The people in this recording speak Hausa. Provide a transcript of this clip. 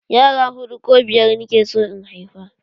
Yara huɗu ko biyar nake so in haifa